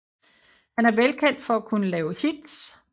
Han er velkendt for at kunne lave hits